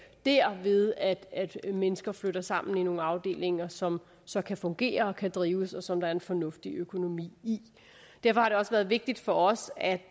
dér ved at at mennesker flytter sammen i nogle afdelinger som så kan fungere og kan drives og som der er en fornuftig økonomi i derfor har det også været vigtigt for os at